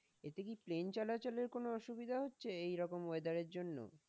এতে কি প্লেন চলাচলের কোন অসুবিধা হচ্ছে? এই রকম weather এর জন্য?